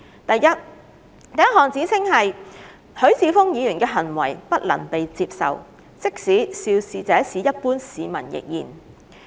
第一項指稱是，許智峯議員的行為不能被接受，即使肇事者是一般市民亦然。